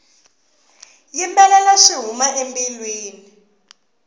yimbelela swi huma embilwini